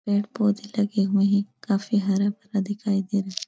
पेड़ पौधे लगे हुए हैं। काफी हरा भरा दिखाई दे रहा --